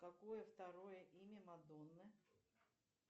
какое второе имя мадонны